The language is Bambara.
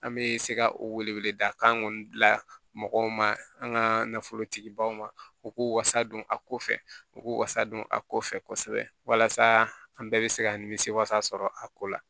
An bɛ se ka o wele wele da kan kɔni mɔgɔw ma an ka nafolotigi baw ma u k'u wasa don a ko fɛ u k'u wasa don a ko fɛ kosɛbɛ walasa an bɛɛ bɛ se ka nimisi wasa sɔrɔ a ko la